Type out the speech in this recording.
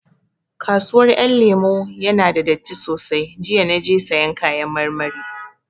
Kasuwar Ƴan Lemu ya na da datti sosai, jiya na je sayan kayan marmari